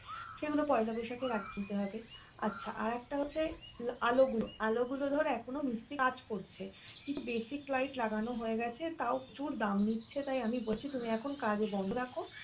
সেগুলো পয়লা বৈশাখের আগে কিনতে হবে আচ্ছা আরেকটা হচ্ছে আলো গুলো, আলো গুলো ধর এখনও মিস্ত্রি কাজ করছে কিন্তু basic light লাগানো হয়ে গেছে তাও প্রচুর দাম নিচ্ছে তাই আমি বলছি তুমি এখন কাজ বন্ধ রাখো